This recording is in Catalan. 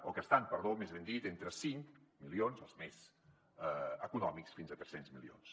o que estan perdó més ben dit entre cinc milions els més econòmics fins a tres cents milions